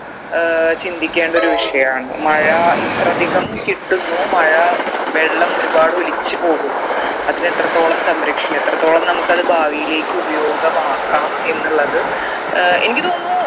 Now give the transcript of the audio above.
ഏർ ചിന്തിക്കേണ്ട ഒരു വിഷയാണ് മഴ ഇത്രധികം കിട്ടുന്നു മഴ വെള്ളം ഒരുപാട് ഒലിച്ച് പോകുന്നു അതിന് എത്രത്തോളം സംരക്ഷണം എത്രത്തോളം നമ്മുക്ക് അത് ഭാവിയിലേക്ക് ഉപയോഗമാക്കാം എന്നുള്ളത് ഏർ എനിക്ക് തോന്നുന്നു